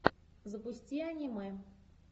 запусти аниме